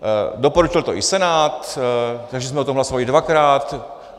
Doporučil to i Senát, takže jsme o tom hlasovali dvakrát.